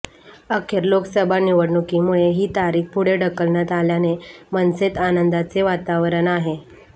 अखेर लोकसभा निवडणुकीमुळे ही तारीख पुढे ढकलण्यात आल्याने मनसेत आनंदाचे वातावरण आहे